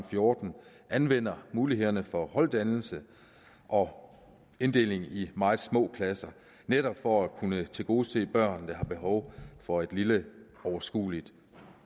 fjorten anvender mulighederne for holddannelse og inddeling i meget små klasser netop for at kunne tilgodese børn der har behov for et lille overskueligt